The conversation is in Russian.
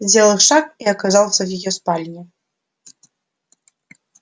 сделал шаг и оказался в её спальне